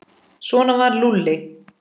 Svona var Lúlli.